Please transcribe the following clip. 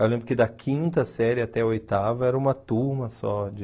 Aí eu lembro que da quinta série até a oitava era uma turma só de...